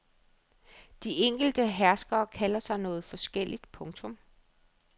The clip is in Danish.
De enkelte herskere kalder sig noget forskelligt. punktum